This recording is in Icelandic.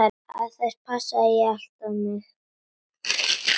Það passaði allt á mig.